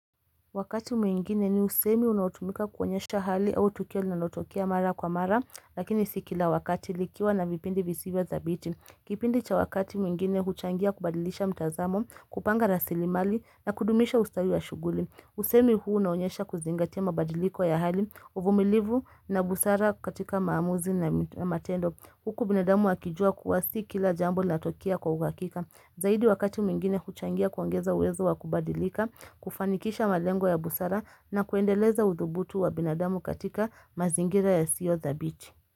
Wakati mwingine ni usemi unaotumika kuonyesha hali au tukio linalotokea mara kwa mara, lakini si kila wakati likiwa na vipindi visivyo thabiti. Kipindi cha wakati mwingine huchangia kubadilisha mtazamo, kupanga rasilimali na kudumisha ustawi wa shughuli. Usemi huu unaonyesha kuzingatia mabadiliko ya hali, uvumilivu na busara katika maamuzi na matendo. Huku binadamu wakijua kuwa si kila jambo linatokea kwa uhakika. Zaidi wakati mwingine huchangia kuongeza uwezo wa kubadilika, kufanikisha malengo ya busara na kuendeleza udhubutu wa binadamu katika mazingira yasiyo thabiti.